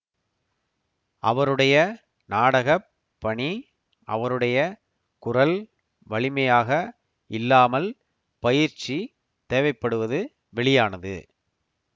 அவருடைய நாடக பணி அவருடைய குரல் வலிமையாக இல்லாமல் பயிற்சி தேவைப்படுவது வெளியானது